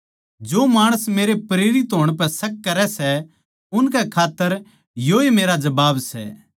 जो माणस मेरे प्रेरित होण पै शक करै सै उनकै खात्तर योए मेरा जबाब सै